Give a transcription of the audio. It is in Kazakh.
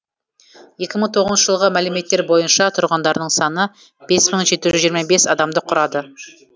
екі мың тоғызыншы жылғы мәліметтер бойынша тұрғындарының саны бес мың жеті жүз жиырма бес адамды құрады